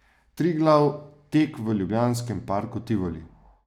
Triglav tek v ljubljanskem parku Tivoli.